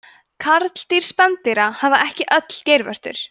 karldýr spendýra hafa ekki öll geirvörtur